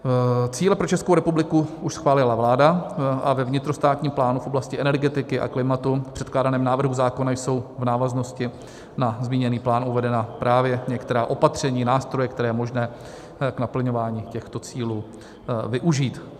Cíle pro Českou republiku už schválila vláda a ve vnitrostátním plánu v oblasti energetiky a klimatu v předkládaném návrhu zákona jsou v návaznosti na zmíněný plán uvedena právě některá opatření, nástroje, které je možné k naplňování těchto cílů využít.